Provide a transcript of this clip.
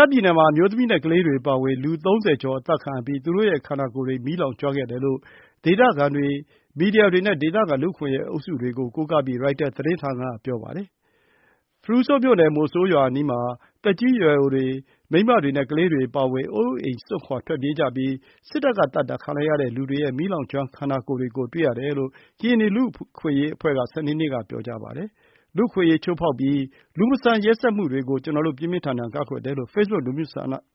ားပြည်နယ်မှာ အမျိုးသမီးနဲ့ ကလေးတွေ အပါအဝင် လူ ၃၀ ကျော် အသတ်ခံရပြီး သူတို့ရဲ့ ခန္ဓာကိုယ်တွေ မီးလောင်ကျွမ်းခဲ့တယ်လို့ ဒေသခံတွေ၊ မီဒီယာတွေနဲ့ ဒေသခံ လူ့အခွင့်အရေး အုပ်စုတွေကို ကိုးကားပြီး ရိုက်တာသတင်းက ဆိုပါတယ်။ ဖရူဆိုမြို့နယ်၊ မိုဆိုးရွာအနီးမှာ သက်ကြီးရွယ်အိုတွေ၊ မိန်းမတွေနဲ့ ကလေးတွေ အပါအဝင် အိုးအိမ်စွန့်ခွာ ထွက်ပြေးကြပြီး စစ်တပ်ကသတ်တာ ခံလိုက်ရတဲ့ လူတွေရဲ့ မီးလောင်ကျွမ်း ခန္ဓာကိုယ်တွေကို တွေ့ရတယ်လို့ ကရင်နီ လူ့အခွင့်အရေးအဖွဲ့က စနေနေ့က ပြောပါတယ်။ “လူ့အခွင့်အရေး ချိုးဖောက်ပြီး လူမဆန် ရက်စက်မှုတွေကို ကျနော်တို့ ပြင်းပြင်းထန်ထန် ကန့်ကွက်တယ်။” လို့ ဖေ့စ်ဘုတ်